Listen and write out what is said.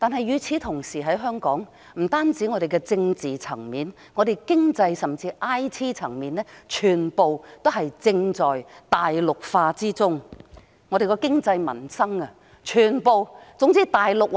與此同時，不僅在政治層面上，香港在經濟甚或 IT 層面上全在大陸化中，經濟民生等全由大陸說了算。